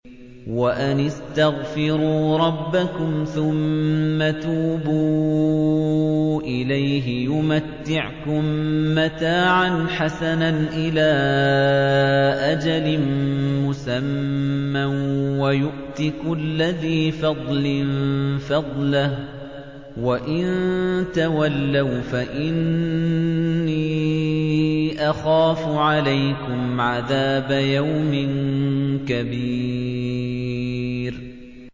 وَأَنِ اسْتَغْفِرُوا رَبَّكُمْ ثُمَّ تُوبُوا إِلَيْهِ يُمَتِّعْكُم مَّتَاعًا حَسَنًا إِلَىٰ أَجَلٍ مُّسَمًّى وَيُؤْتِ كُلَّ ذِي فَضْلٍ فَضْلَهُ ۖ وَإِن تَوَلَّوْا فَإِنِّي أَخَافُ عَلَيْكُمْ عَذَابَ يَوْمٍ كَبِيرٍ